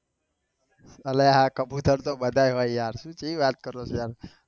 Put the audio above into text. અલ્યા કબુતર તો બધાએ હોય યાર તું કેવું વાત કરું છું